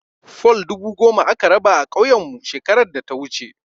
Fol dubu goma aka raba a ƙauyenmu shekarar data wuce.